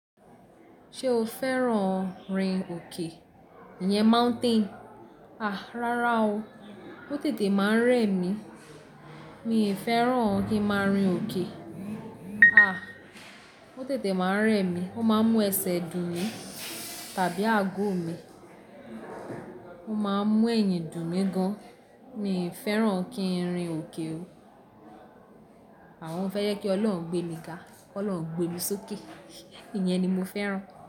Ṣé o fẹ́ràn rin òkè? Ìyẹn mountain. A, rárá o. Ó tètè máa ń rẹ mí. Mi ò fẹ́ràn kí ń máa rin òkè. A, ó tètè máa ń rẹ mí. Ó máa ń mú ẹsẹ̀ dùn mi tàbí àgó mi. Ó máa ń mú eyín dùn mi gan. Mi ò fẹ́ràn kí n rin òkè o. Àwọn fẹ́ yẹ kí Ọlọ́run gbé mi ga. Kí Ọlọ́run gbé mi sókè. Ìyẹn ni mo fẹ́ràn.